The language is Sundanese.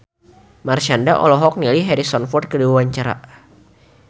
Marshanda olohok ningali Harrison Ford keur diwawancara